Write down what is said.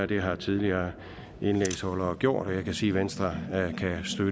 det har tidligere indlægsholdere gjort og jeg kan sige at venstre